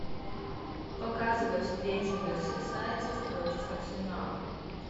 показывай встречу мерсисайдцев против арсенала